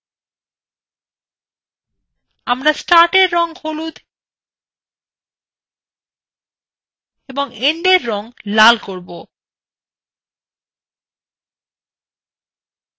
আমরা startwe red হলুদ এবং endwe red লাল করব